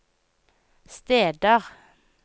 steder